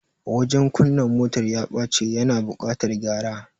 Wajen kunna motar ya bace, ya na buƙatar gyara